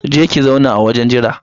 Je ki ki zauna a wajen jira